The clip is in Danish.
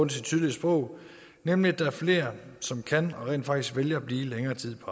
tydelige sprog nemlig at der er flere som kan og rent faktisk vælger at blive længere tid på